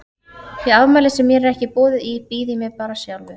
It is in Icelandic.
Í afmæli sem mér er ekki boðið í býð ég mér bara sjálfur.